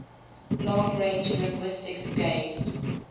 long range linguistics gave